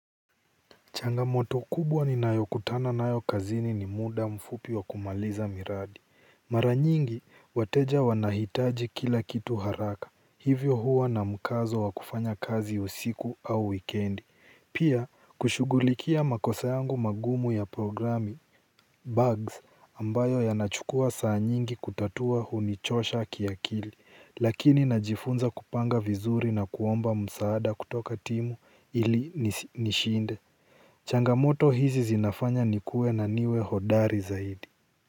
Changamoto kubwa ninayokutana nayo kazini ni muda mfupi wa kumaliza miradi. Mara nyingi, wateja wanahitaji kila kitu haraka. Hivyo huwa na mkazo wa kufanya kazi usiku au wikendi. Pia, kushugulikia makosa yangu magumu ya programi bugs ambayo yanachukua saa nyingi kutatua hunichosha kiakili. Lakini najifunza kupanga vizuri na kuomba msaada kutoka timu ili nishinde. Changamoto hizi zinafanya ni kue na niwe hodari zaidi.